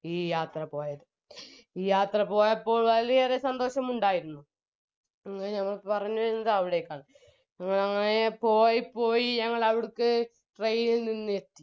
ഈ യാത്ര പോയത് ഈ യാത്ര പോയപ്പോൾ വളരെയേറെ സന്തോഷമുണ്ടായിരുന്നു പിന്നെ ഞങ്ങൾ പറഞ്ഞുവരുന്നത് അവിടേക്കാണ് എ അങ്ങനെ പോയി പോയി train ഇൽ നിന്ന്